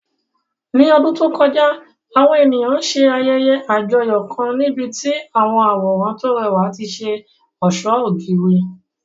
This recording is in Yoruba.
Ní ọdún tó kọjá, àwọn ènìyàn ṣe ayẹyẹ àjọyọ̀ kan níbi tí àwọn àwòrán tó rẹwà ti ṣe ọ̀ṣọ́ ògiri.